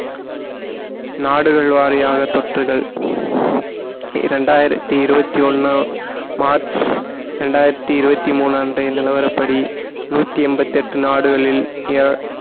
நாடுகள் வாரியாக தொற்றுகள் இரண்டாயிரத்தி இருபத்தி ஒண்ணு மார்ச் இரண்டாயிரத்தி இருபத்தி மூணு அன்றைய நிலவரப்படி நூத்தி எண்பத்தி எட்டு நாடுகளில்